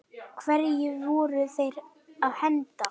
Hverju voru þeir að henda?